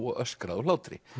og öskraði úr hlátri